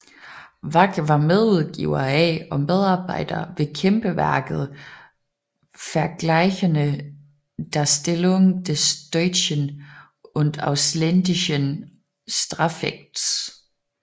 Wach var medudgiver af og medarbejder ved kæmpeværket Vergleichende Darstellung des Deutschen und Ausländischen Strafrechts